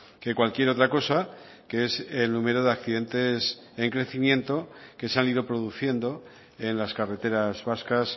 que cualquier otra cosa que es el número de accidentes en crecimiento que se han ido produciendo en las carreteras vascas